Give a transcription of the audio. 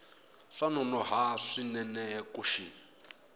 swa nonoha swinene ku xi